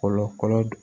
Kɔlɔ kɔlɔ